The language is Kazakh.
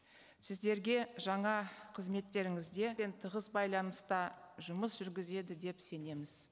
сіздерге жаңа қызметтеріңізде тығыз байланыста жұмыс жүргізеді деп сенеміз